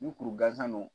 Ni kuru gansan don